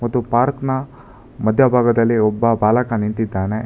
ಮತ್ತು ಪಾರ್ಕ್ ನ ಮಧ್ಯಭಾಗದಲ್ಲಿ ಒಬ್ಬ ಬಾಲಕ ನಿಂತಿದ್ದಾನೆ.